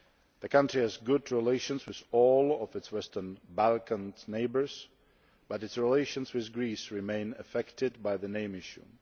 The country has good relations with all of its Western Balkans neighbours, but its relations with Greece remain affected by the name issue.